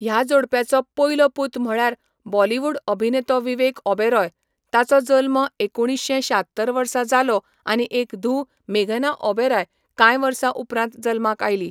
ह्या जोडप्याचो पयलो पूत म्हळ्यार बॉलिवूड अभिनेतो विवेक ओबेरॉय, ताचो जल्म एकुणीशें शात्तर वर्सा जालो आनी एक धूव मेघना ओबेराय कांय वर्सां उपरांत जल्माक आयली.